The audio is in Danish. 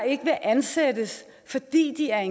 ikke vil ansættes fordi de er